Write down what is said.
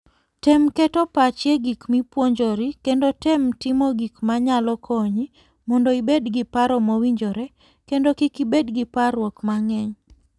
Tem keto pachi e gik mipuonjori kendo tem timo gik ma nyalo konyi mondo ibed gi paro mowinjore kendo kik ibed gi parruok mang'eny.